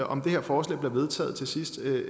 om det her forslag bliver vedtaget til sidst